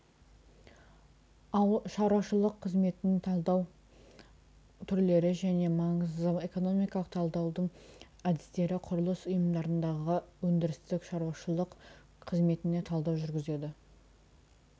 шаруашылық қызметін талдау түрлері және маңызы экономикалық талдаудың әдістері құрылыс ұйымдарындағы өндірістік шаруашылық қызметіне талдау жүргізеді